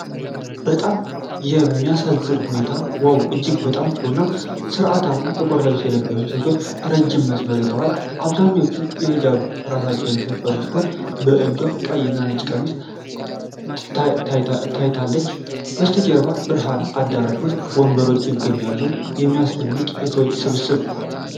በጣም የሚያሳዝን ሁኔታ ዋው፣ እጅግ በጣም ጥሩ እና ሥርዓታማ! ጥቁር ልብስ የለበሱ ሴቶች ረዥም መስመር ይዘዋል። አብዛኞቹ በሂጃብ ራሳቸውን የሸፈኑ ሲሆን፣ አንዷ በቀይና ነጭ ቀሚስ ታይታለች። በስተጀርባ በብርሃን አዳራሽ ውስጥ ወንበሮች ይገኛሉ። የሚያስደንቅ የሰዎች ስብስብ!